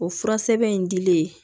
O fura sɛbɛn in dilen